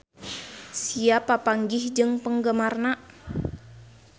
Sia papanggih jeung penggemarna